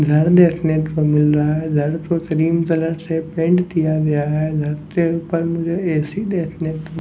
घर देखने को मिल रहा है घर को क्रीम कलर से पेंट किया गया है घर के ऊपर मुझे ए_सी देखने क --